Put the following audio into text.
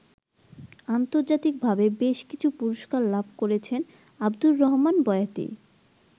আন্তর্জাতিকভাবে বেশকিছু পুরস্কার লাভ করেছেন আবদুর রহমান বয়াতি।